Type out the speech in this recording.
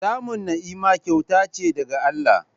Samun ni'ima kyauta ce daga Allah.